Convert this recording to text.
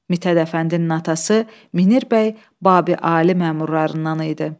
Mithət Əfəndinin atası Münir bəy Babi ali məmurlarından idi.